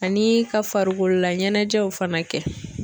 Ani ka farikololaɲɛnajɛw fana kɛ.